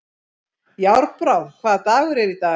Járnbrá, hvaða dagur er í dag?